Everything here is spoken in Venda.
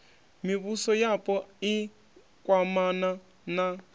mivhuso yapo i kwamana na